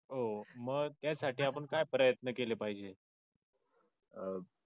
हो मग यासाठी आपण काय प्रयत्न केले पाहिजेत